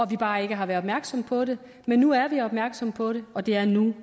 vi bare ikke har været opmærksomme på det men nu er vi opmærksomme på det og det er nu